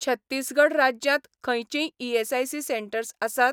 छत्तीसगढ राज्यांत खंयचींय ESIC centres आसात?